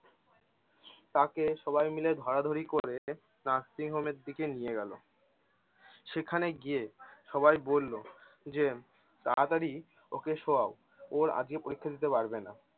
তাঁকে সবাই মিলে ধরাধরি করে nursing home এর দিকে নিয়ে গেলো। সেখানে গিয়ে সবাই বললো যে তাড়াতাড়ি ওকে শোয়াও। ওর আজগে পরীক্ষা দিতে পারবে না!